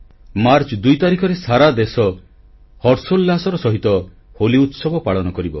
March 2 ତାରିଖରେ ସାରା ଦେଶ ହର୍ଷୋଲ୍ଲାସର ସହିତ ହୋଲି ଉତ୍ସବ ପାଳନ କରିବ